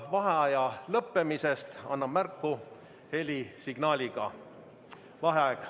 Vaheaja lõppemisest annan märku helisignaaliga.